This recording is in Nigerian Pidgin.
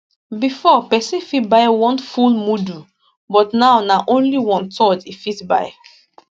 bifor pesin fit buy one full mudu but now na only onethird e fit buy